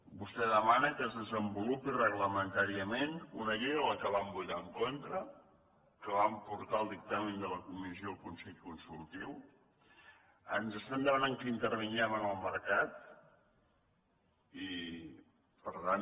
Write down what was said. vostè demana que es desenvolupi reglamentàriament una llei que van votar en contra que van portar el dictamen de la comissió al consell consultiu ens estan demanant que intervinguem en el mercat i per tant